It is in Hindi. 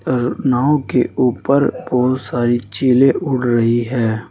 अर नाव के ऊपर बहुत सारी चिले उड़ रही है।